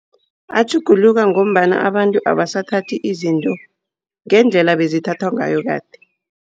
Atjhuguluka ngombana abantu abasathathi izinto ngendlela bezithathwa ngayo kade.